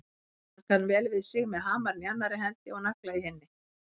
Hann kann vel við sig með hamarinn í annarri hendi og nagla í hinni.